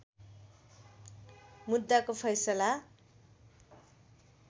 मुद्दाको फैसला